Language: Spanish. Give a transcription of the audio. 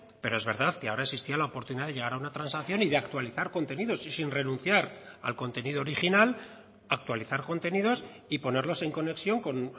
pero es verdad que ahora existía la oportunidad de llegar a una transacción y de actualizar contenidos y sin renunciar al contenido original actualizar contenidos y ponerlos en conexión con